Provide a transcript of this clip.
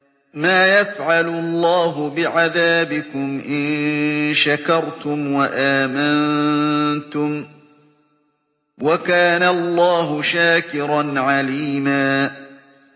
مَّا يَفْعَلُ اللَّهُ بِعَذَابِكُمْ إِن شَكَرْتُمْ وَآمَنتُمْ ۚ وَكَانَ اللَّهُ شَاكِرًا عَلِيمًا